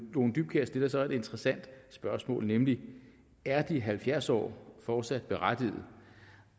lone dybkjær stiller så et interessant spørgsmål nemlig er de halvfjerds år fortsat berettiget